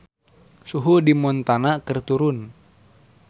Suhu di Montana keur turun